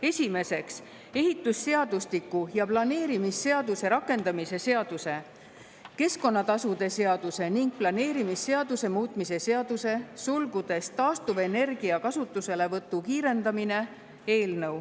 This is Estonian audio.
Esimeseks, ehitusseadustiku ja planeerimisseaduse rakendamise seaduse, keskkonnatasude seaduse ning planeerimisseaduse muutmise seaduse eelnõu.